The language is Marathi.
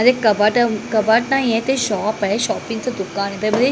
म्हणजे कपाट कपाट नाहीए ते शॉप आहे शॉपिंगचं दुकान आहे त्याच्यामध्ये--